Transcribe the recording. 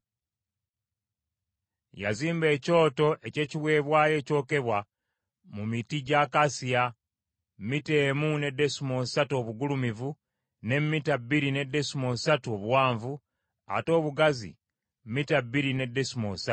Yazimba ekyoto eky’ekiweebwayo ekyokebwa mu miti gy’akasiya, mita emu ne desimoolo ssatu obugulumivu, ne mita bbiri ne desimoolo ssatu obuwanvu, ate obugazi mita bbiri ne desimoolo ssatu.